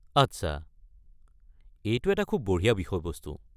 আচ্ছা। এইটো এটা খুব বঢ়িয়া বিষয়বস্তু।